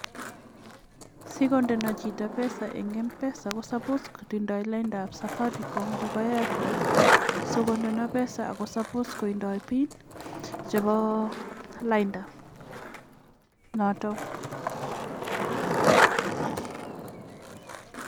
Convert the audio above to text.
Sikondena chito pesa eng' mpesa ko supos kotindai lainda ap Safaricom anan ko Airtel sikondana pesa ako sopos kotindai PIN chepo lainda )notok.